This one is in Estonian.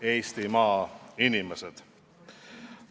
Head Eestimaa inimesed!